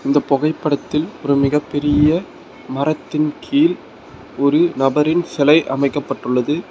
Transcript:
இந்த பொகைப்படத்தில் ஒரு மிகப்பெரிய மரத்தின் கீழ் ஒரு நபரின் செலை அமைக்கப்பட்டுள்ளது.